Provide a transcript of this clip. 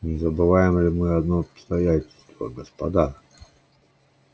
не забываем ли мы одно обстоятельство господа